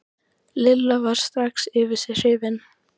Lilla varð strax yfir sig hrifin.